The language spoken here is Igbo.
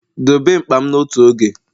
dobe mkpa m n'otu oge!